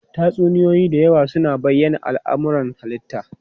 Tatsuniyoyi da yawa suna bayyana al'amuran halitta.